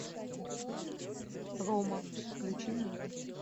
рома включи мне